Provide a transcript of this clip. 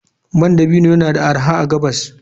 Man dabino yana da arha a gabas.